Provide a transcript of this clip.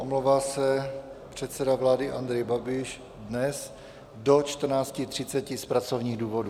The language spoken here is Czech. Omlouvá se předseda vlády Andrej Babiš dnes do 14.30 z pracovních důvodů.